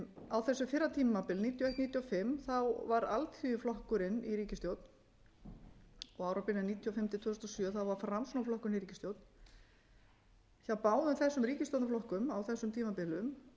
á þessu fyrra tímabili nítján hundruð níutíu og eitt til nítján hundruð níutíu og fimm var alþýðuflokkurinn í ríkisstjórn á árabilinu nítján hundruð níutíu og fimm til nítján hundruð níutíu og sjö var framsóknarflokkurinn í ríkisstjórn hjá báðum þessum ríkisstjórnarflokkum á þessum tímabilum